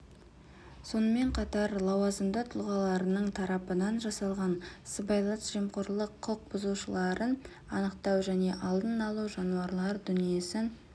сонымен қатар лауазымды тұлғаларының тарапынан жасалған сыбайлас жемқорлық құқық бұзушылықтарын анықтау және алдын алу жануарлар дүниесін